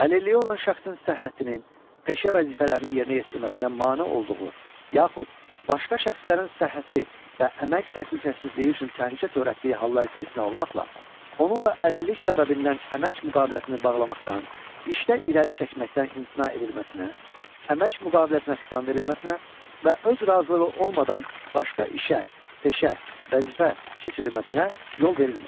Əlilliyi olan şəxsin səhhətinin peşə vəzifələrini yerinə yetirməsinə mane olduğu yaxud başqa şəxslərin səhhəti və əmək təhlükəsizliyi üçün təhlükə törətdiyi hallar istisna olmaqla, onunla əlillik səbəbindən əmək müqaviləsini bağlamaqdan, işdə irəli çəkməkdən imtina edilməsinə, əmək müqaviləsinə xitam verilməsinə və öz razılığı olmadan başqa işə, peşə, vəzifə keçirilməsinə yol verilmir.